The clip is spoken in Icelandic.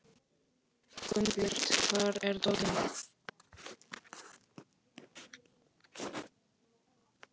Gunnbjört, hvar er dótið mitt?